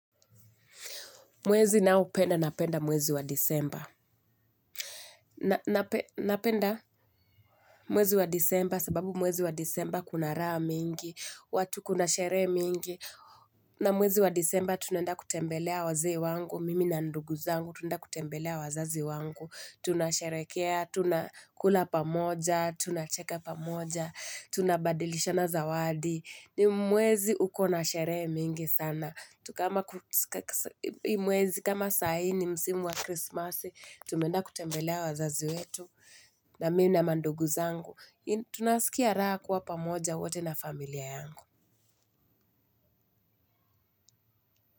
Mwezi nao penda napenda mwezi wa disemba. Napenda mwezi wa disemba sababu mwezi wa disemba kuna raha mingi, watu kuna sherehe mingi. Na mwezi wa disemba tunaenda kutembelea wazee wangu, mimi na ndugu zangu tunaenda kutembelea wazazi wangu. Tunasherehekea, tunakula pamoja, tunacheka pamoja, tunabadilishana zawadi. Ni mwezi ukona sherehe mingi sana. Kama hii mwezi kama sahii ni msimu wa Christmas, tumeenda kutembelea wazazi wetu na mimi na mandugu zangu. Tunasikia raha kuwa pamoja wote na familia yangu.